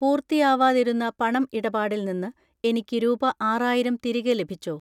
പൂർത്തിയാവാതിരുന്ന പണം ഇടപാടിൽ നിന്ന് എനിക്ക് രൂപ ആറായിരം തിരികെ ലഭിച്ചോ?